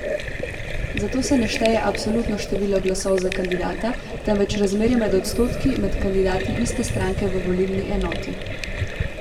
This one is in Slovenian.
Zato se ne šteje absolutno število glasov za kandidata, temveč razmerje med odstotki med kandidati iste stranke v volilni enoti.